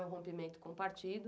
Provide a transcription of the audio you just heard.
O rompimento com o partido.